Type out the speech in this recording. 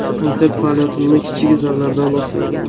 Konsert faoliyatimni kichik zallardan boshlaganman.